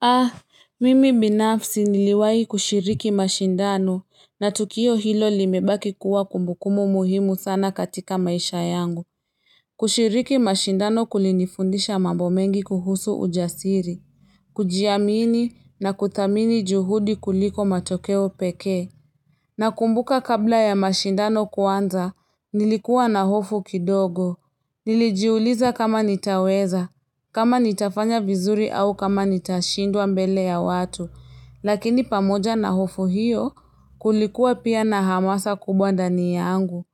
Ah, mimi binafsi niliwai kushiriki mashindano na tukio hilo limebaki kuwa kumbukumbu muhimu sana katika maisha yangu. Kushiriki mashindano kulinifundisha mambo mengi kuhusu ujasiri. Kujiamini na kuthamini juhudi kuliko matokeo pekee. Nakumbuka kabla ya mashindano kuanza, nilikuwa na hofu kidogo. Nilijiuliza kama nitaweza, kama nitafanya vizuri au kama nitashindwa mbele ya watu. Lakini pamoja na hofu hiyo, kulikuwa pia na hamasa kubwa ndani yangu.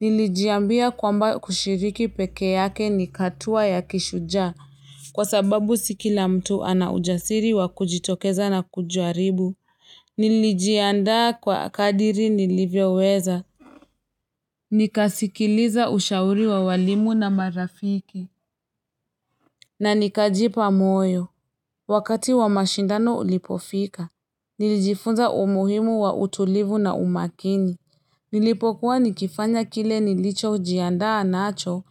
Nilijiambia kwamba kushiriki peke yake ni hatua ya kishujaa. Kwa sababu si kila mtu ana ujasiri wa kujitokeza na kujaribu. Nilijiandaa kwa kadiri nilivyoweza. Nikasikiliza ushauri wa walimu na marafiki. Na nikajipa moyo. Wakati wa mashindano ulipofika. Nilijifunza umuhimu wa utulivu na umakini. Nilipokuwa nikifanya kile nilicho jiandaa nacho.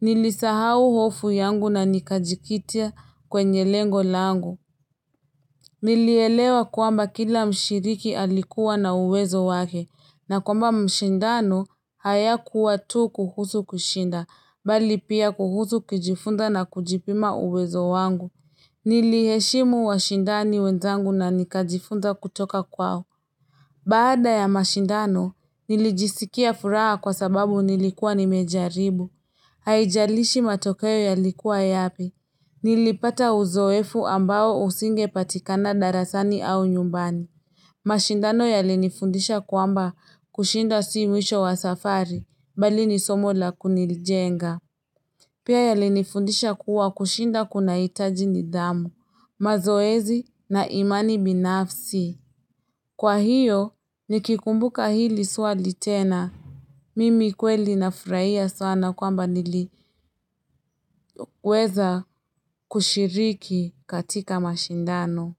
Nilisahau hofu yangu na nikajikita kwenye lengo langu. Nilielewa kwamba kila mshiriki alikuwa na uwezo wake. Na kwamba mashindano hayakuwa tu kuhusu kushinda, bali pia kuhusu kujifunza na kujipima uwezo wangu. Niliheshimu washindani wenzangu na nikajifunza kutoka kwao. Baada ya mashindano, nilijisikia furaha kwa sababu nilikuwa nimejaribu. Haijalishi matokeo yalikuwa yapi. Nilipata uzoefu ambao usinge patikana darasani au nyumbani. Mashindano yalinifundisha kwamba kushinda si mwisho wa safari, bali ni somo la kunijenga. Pia yalinifundisha kuwa kushinda kuna hitaji nidhamu, mazoezi na imani binafsi. Kwa hiyo, nikikumbuka hili swali tena. Mimi kweli nafurahia sana kwamba niliweza kushiriki katika mashindano.